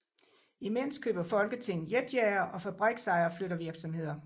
Imens køber Folketinget jetjagere og fabriksejere flytter virksomheder